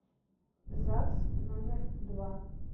загс номер два